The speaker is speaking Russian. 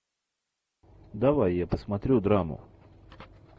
давай я посмотрю драму